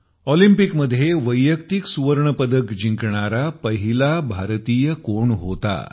ऑलिम्पिकमध्ये वैयक्तिक सुवर्ण पदक जिंकणारा पहिला भारतीय कोण होता